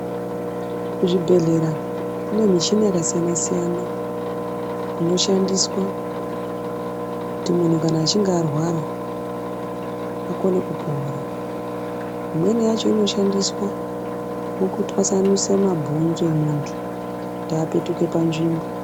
Kuzvibhedhlera kune michini yakasiyana siyana inoshandiswa kuti kana muntu achinge arwara akone kupora imweni yacho inoshandiswa mukutwasanusa mabhonzo emuntu kuti apetuke panzvimbo .